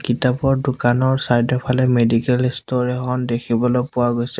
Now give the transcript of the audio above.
কিতাপৰ দোকানৰ ছাইড ৰ ফালে মেডিকেল ইষ্ট'ৰ এখন দেখিবলৈ পোৱা গৈছে।